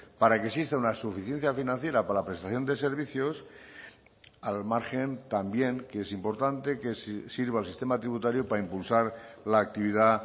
para que exista una suficiencia financiera para la prestación de servicios al margen también que es importante que sirva el sistema tributario para impulsar la actividad